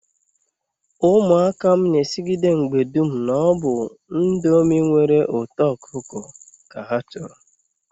Umuaka m n'esigide mgbe dum na-obu ndomi nwere uto okuko ka ha choro